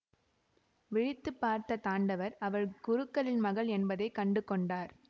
விழித்து பார்த்த தாண்டவர் அவள் குருக்களின் மகள் என்பதை கண்டு கொண்டார்